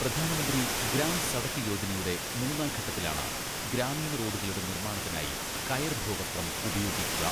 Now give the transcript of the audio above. പ്രധാനമന്ത്രി ഗ്രാം സഡക് യോജനയുടെ മൂന്നാം ഘട്ടത്തിലാണ് ഗ്രാമീണ റോഡുകളുടെ നിർമ്മാണത്തിനായി കയർ ഭൂവസ്ത്രം ഉപയോഗിക്കുക.